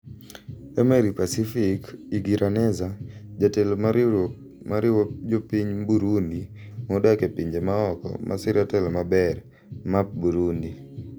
Emery Pacifique Igiraneza, jatelo mar riwruok mariwo jopiny Burundi modak e pinje maoko masiro telo maber(MAP Burundi).